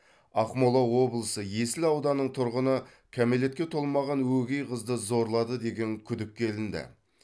ақмола облысы есіл ауданының тұрғыны кәмелетке толмаған өгей қызды зорлады деген күдікке ілінді